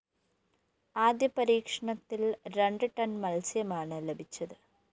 ആദ്യ പരീക്ഷണത്തില്‍ രണ്ട് ടൺ മത്സ്യമാണ് ലഭിച്ചത്